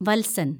വത്സന്‍